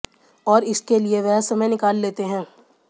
और इसके लिए वह समय निकाल लेते हैं